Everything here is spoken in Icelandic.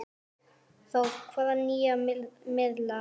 Þór: Hvaða nýja miðla?